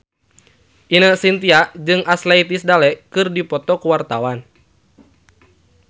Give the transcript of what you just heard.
Ine Shintya jeung Ashley Tisdale keur dipoto ku wartawan